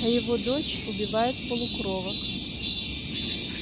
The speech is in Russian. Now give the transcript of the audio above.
а его дочь убивает полукровок